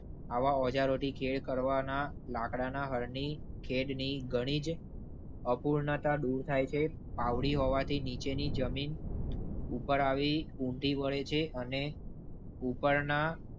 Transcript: હવા ઓજારોથી ખેતી કરવાના લાકડાના હળની ખેડની ઘણી અપૂર્ણતા દૂર થાય છે. પાવડી હોવાથી નીચેની જમીન. ઉપર આવી ઊમટી પડે છે અને ઉપરના.